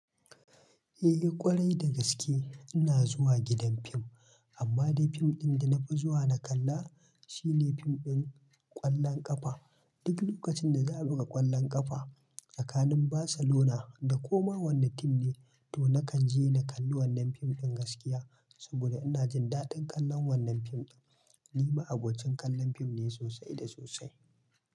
Eh, ƙwarai da gaske ina zuwa gidan fim, amma dai fim ɗin da nafi zuwa na kalla shine fim ɗin ƙwallon ƙafa. Duk lokacin da za a buga ƙwallon ƙafa tsakanin Barcelona da koma wanne tim ne, to nakan je na kalli wannan fim ɗin gaskiya saboda ina jin daɗin kallon wannan fim ɗin. Ni ma abocin kallon fim ne sosai da sosai.